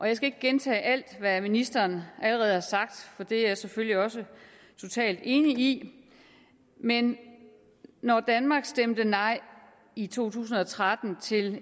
jeg skal ikke gentage alt hvad ministeren allerede har sagt for det er jeg selvfølgelig også totalt enig i men når danmark stemte nej i to tusind og tretten til